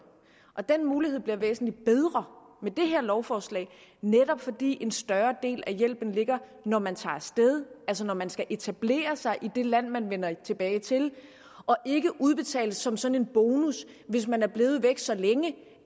og den mulighed bliver væsentlig bedre med det her lovforslag netop fordi en større del af hjælpen ligger når man tager sted altså når man skal etablere sig i det land man vender tilbage til og ikke udbetales som sådan en bonus hvis man er blevet væk så længe